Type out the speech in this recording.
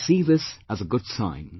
I see this as a good sign